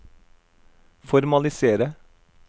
formalisere